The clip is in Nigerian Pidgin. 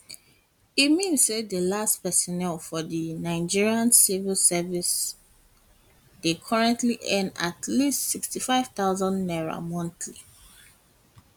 e mean mean say di least personnel for di nigeria um civil service dey currently earn at least n65000 monthly